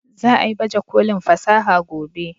Za a yi baje kolin fasaha gobe